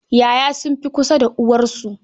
Ya'ya sun fi kusa da uwarsu.